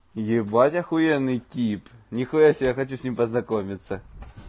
ебать ахуенный тип нихуясебе я хочу с ним познакомиться